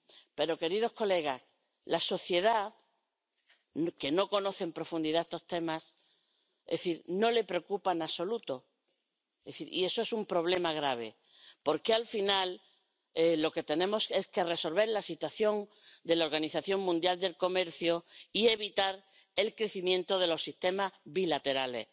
Pero, queridos colegas, a la sociedad, que no conoce en profundidad estos temas, no le preocupa en absoluto, y eso es un problema grave, porque, al final, lo que tenemos que hacer es resolver la situación de la Organización Mundial del Comercio y evitar el crecimiento de los sistemas bilaterales.